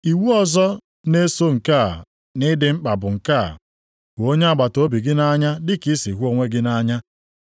Iwu ọzọ na-eso nke a nʼịdị mkpa bụ nke a, ‘Hụ onye agbataobi gị nʼanya dị ka i si hụ onwe gị nʼanya.’ + 22:39 \+xt Lev 19:18\+xt*